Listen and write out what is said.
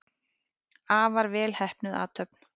Afar vel heppnuð athöfn.